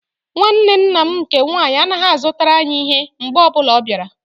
Nwanne nna m nke nwaanyị anaghị-azụtara anyị ihe mgbe ọbụla ọ bịara.